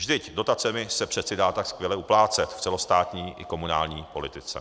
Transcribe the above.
Vždyť dotacemi se přece dá tak skvěle uplácet v celostátní i komunální politice.